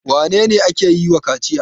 Wane ne ake yi wa kaciya?